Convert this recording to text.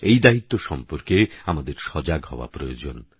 এই দায়িত্ব সম্পর্কে আমাদের সজাগ হওয়া প্রয়োজন